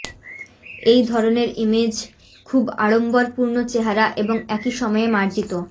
এই ধরনের ইমেজ খুব আড়ম্বরপূর্ণ চেহারা এবং একই সময়ে মার্জিত